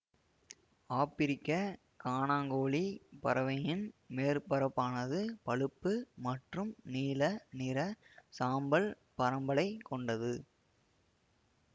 ஆபிரிக்க கானாங்கோழி பறவையின் மேற்பரப்பானது பழுப்பு மற்றும் நீல நிற சாம்பல் பரம்பலை கொண்டது